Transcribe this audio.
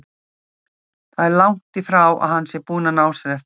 Það er langt í frá að hann sé búinn að ná sér eftir áfallið.